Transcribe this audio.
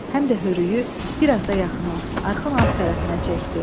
Həm də hörüyi bir az da yaxına, arxın alt tərəfinə çəkdi.